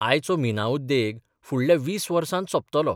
आयचो मिना उद्येग फुडल्या 20 वर्सात सोंपतलो.